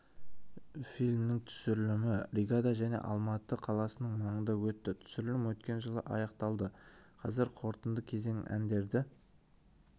фильмнің түсірілімі ригада және алматы қаласының маңында өтті түсірілім өткен жылы аяқталды қазір қорытынды кезең әндерді